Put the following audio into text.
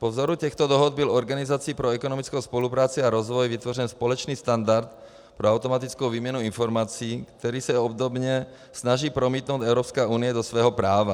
Po vzoru těchto dohod byl Organizací pro ekonomickou spolupráci a rozvoj vytvořen společný standard pro automatickou výměnu informací, který se obdobně snaží promítnout Evropská unie do svého práva.